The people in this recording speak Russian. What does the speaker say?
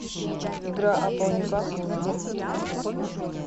игра апл ньюкасл с борнмутом